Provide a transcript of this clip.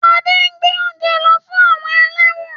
Ade ngbé ounje ló fún àwọn eléwòn